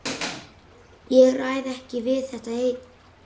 Ég ræð ekki við þetta einn.